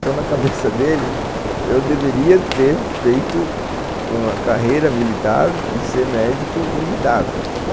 Então, na cabeça dele, eu deveria ter feito uma carreira militar e ser médico militar.